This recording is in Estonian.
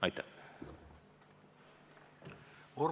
Aitäh!